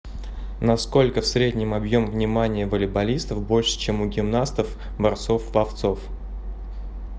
на сколько в среднем объем внимания волейболистов больше чем у гимнастов борцов пловцов